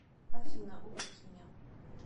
афина убить меня